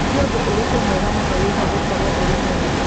Nĩ ũndũ ũrĩkũ mwega mũno wĩgiĩ gũkorũo ũrĩ we mwene